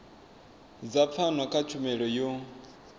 dza pfano kha tshumelo yo